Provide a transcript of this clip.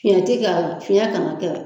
Fiɲɛ tɛ k'a la, fiɲɛ kana kɛ.